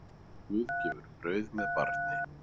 Guð gefur brauð með barni.